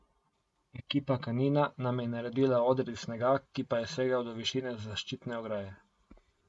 Ekipa Kanina nam je naredila oder iz snega, ki pa je segal do višine zaščitne ograje.